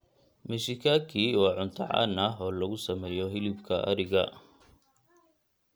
Meshikaki waa cunto caan ah oo lagu sameeyo hilibka ariga.